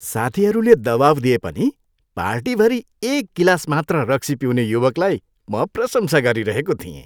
साथीहरूले दबाउ दिए पनि पार्टीभरि एक गिलास मात्र रक्सी पिउने युवकलाई म प्रसंसा गरिरहेको थिएँ।